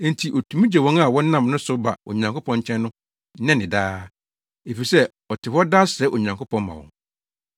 Enti otumi gye wɔn a wɔnam ne so ba Onyankopɔn nkyɛn no nnɛ ne daa, efisɛ, ɔte hɔ daa srɛ Onyankopɔn ma wɔn.